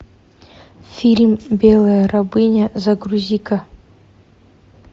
фильм белая рабыня загрузи ка